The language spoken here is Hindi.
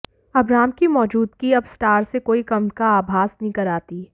अबराम की मौजूदगी अब स्टार से कोई कम का आभास नहीं कराती